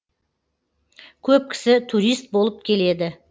көп кісі турист болып келеді